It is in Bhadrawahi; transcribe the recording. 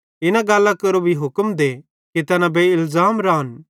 इन गल्लां केरो भी हुक्म दे कि तैना बेइलज़ाम रान